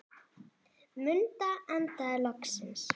Munda andaði loksins.